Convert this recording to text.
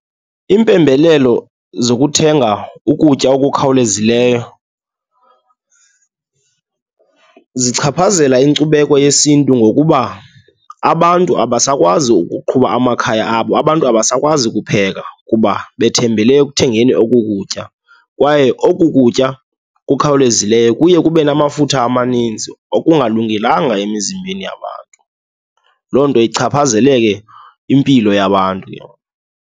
Impembelelo zokuthenga ukutya okukhawulezileyo zichaphazela inkcubeko yesiNtu ngokuba abantu abasakwazi ukuqhuba amakhaya abo, abantu abasakwazi kupheka kuba bethembele ekuthengeni oku kutya. Kwaye oku kutya kukhawulezileyo kuye kube namafutha amaninzi okungalungelanga emizimbeni yabantu, loo nto ichaphazele ke impilo yabantu.